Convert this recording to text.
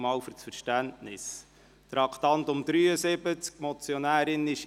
Auch hier vielen Dank für das Verständnis.